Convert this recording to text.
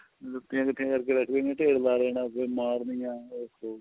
ਜੁਤੀਆਂ ਇੱਕਠੀਆਂ ਕਰਕੇ ਵੇਸੇ ਇੰਨੇ ਢੇਰ ਲਾ ਲੈਣਾ ਸੀ ਮਾਰਨੀਆ ਉਹ